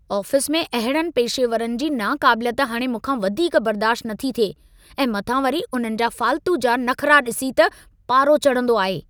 Office में अहिड़नि पेशेवरनि जी नाक़ाबिलियत हाणे मूंखां वधीक बर्दाश्त नथी थिए ऐं मथां वरी उन्हनि जा फ़ाल्तू जा नखरा डि॒सी त पारो चढ़ंदो आहे।